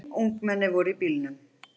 Fimm ungmenni voru í bílnum.